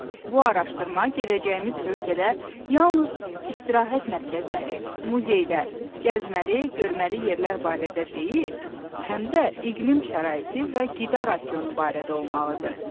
Bu araşdırma gedəcəyimiz ölkədə yalnız istirahət mərkəzləri, muzeylər, gəzməli, görməli yerlər barədə deyil, həm də iqlim şəraiti və qida rasionu barədə olmalıdır.